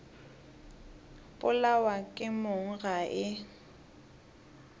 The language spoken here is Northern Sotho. polawa ke mong ga e